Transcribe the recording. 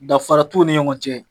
Danfara t'o ni ɲɔgɔn cɛ.